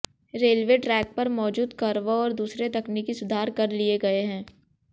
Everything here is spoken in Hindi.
रेलवे ट्रेक पर मौजूद कर्व और दूसरे तकनीकी सुधार कर लिए गए हैं